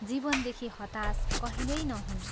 जीवनदेखि हताश कहिल्यै नहुन्।